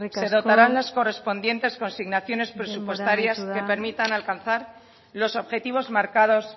se dotarán las correspondientes consignaciones presupuestarias que permitan alcanzar los objetivos marcados